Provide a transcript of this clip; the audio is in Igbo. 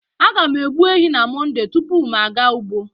aga m egbu ehi na Monde tupu m aga ugbo